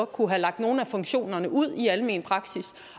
kunne have lagt nogle af funktionerne ud i almen praksis